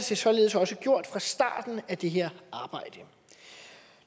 det således også gjort fra starten af det her arbejde